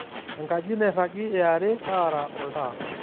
enkaji nairagi eare taara oltaa